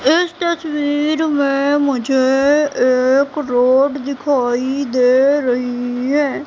इस तस्वीर में मुझे एक रोड दिखाई दे रही है।